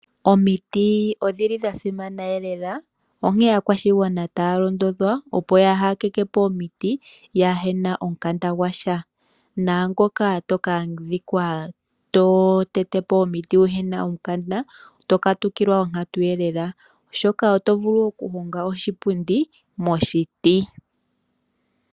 Omiti odha simana noonkondo, onkene aakwashigwana otaya londodhwa, opo kaaya tete po omiti yaa he na omukanda gwasha naangoka to ka adhika to tete po omiti kuu na omukanda oto katukilwa onkatu. Oto vulu okuhonga oshipundi moshiti.